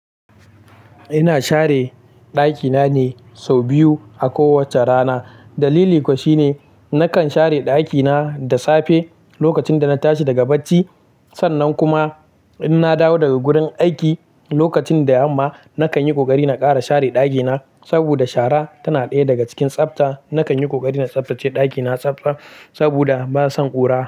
Ina share ɗakina ne sau biyu a kowacce rana. Dalili kuwa shine nakan share ɗakina da safe lokacin da na tashi daga bacci. Sannan kuma in na dawo daga gurin aiki, lokacin da yamma, nakan yi ƙoƙari na ƙara share ɗakina. Saboda shara tana ɗaya daga cikin tsafta. Nakan yi ƙoƙari na tsaftace ɗakina tsaf staf saboda bana son ƙura.